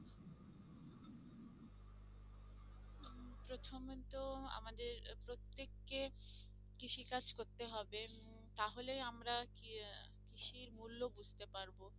প্রথমে তো আমাদের আহ প্রত্যেককে কৃষি কাজ করতে হবে উম তাহলে আমরা কৃষির মূল্য বুঝতে পারবো